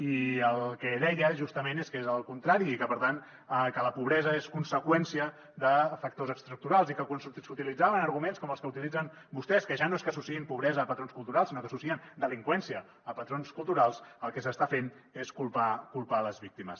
i el que deia justament és que és al contrari i que per tant la pobresa és conseqüència de factors estructurals i que quan s’utilitzaven arguments com els que utilitzen vostès que ja no és que associïn pobresa a patrons culturals sinó que associen delinqüència a patrons culturals el que s’està fent és culpar les víctimes